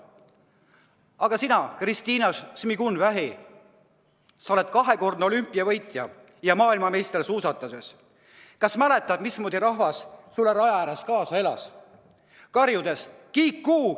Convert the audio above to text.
Aga sina, Kristina Šmigun-Vähi, kes sa oled kahekordne olümpiavõitja ja maailmameister suusatamises, kas sa mäletad, mismoodi rahvas sulle raja ääres kaasa elas, karjudes: "Kiku!